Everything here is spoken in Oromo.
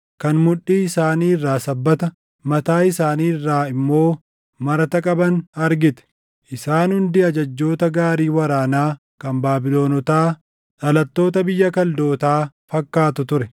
kan mudhii isaanii irraa sabbata, mataa isaanii irraa immoo marata qaban argite; isaan hundi ajajjoota gaarii waraanaa kan Baabilonotaa, dhalattoota biyya Kaldootaa fakkaatu ture.